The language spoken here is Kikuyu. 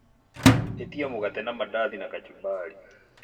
atia mũgate na madazi na kachumbari